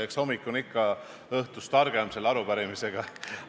Eks hommik on ikka õhtust targem, ka selle arupärimise puhul.